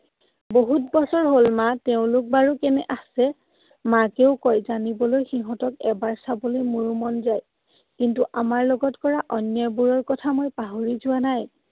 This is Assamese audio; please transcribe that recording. বহুত বছৰ হ'ল মা। তেওঁলোক বাৰু কেনে আছে? মাকেও কয়, জানিবলৈ সিহঁতক এবাৰ চাবলৈ মোৰো মন যায়। কিন্তু আমাৰ লগত কৰা অন্যয়বোৰৰ কথা মই পাহৰি যোৱা নাই।